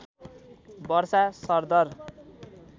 वर्षा सरदर